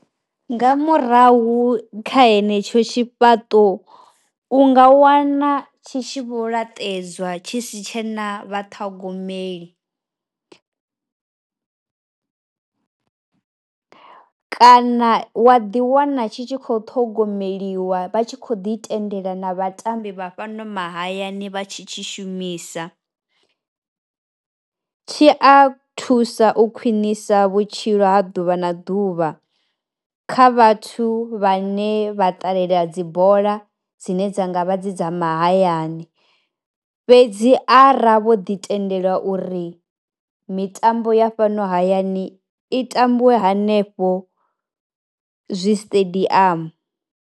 Nga murahu kha henetsho tshifhaṱo u nga wana tshi tshi vho laṱedzwa tshi si tshe na vha ṱhogomeli kana wa ḓi wana tshi tshi kho ṱhogomeliwa vha tshi kho ḓi tendela na vhatambi vha fhano mahayani vha tshi tshi shumisa. Tshi a thusa u khwinisa vhutshilo ha ḓuvha na ḓuvha kha vhathu vhane vha ṱalela dzi bola dzine dza ngavha dzi dza mahayani hani fhedzi ara vho ḓi tendelwa uri mitambo ya fhano hayani i tambiwe hanefho zwi stadium.